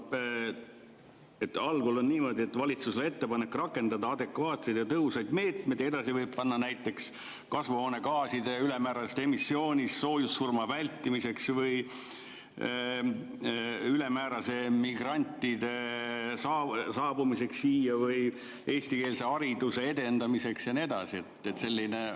Algul on niimoodi, et valitsusele ettepanek rakendada adekvaatseid ja tõhusaid meetmeid, ja edasi võib panna näiteks kasvuhoonegaaside ülemäärasest emissioonist soojussurma vältimiseks või ülemääraseks migrantide saabumiseks siia või eestikeelse hariduse edendamiseks ja nii edasi?